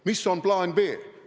Mis on plaan B?